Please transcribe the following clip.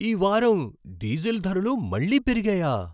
ఈ వారం డీజిల్ ధరలు మళ్ళీ పెరిగాయా?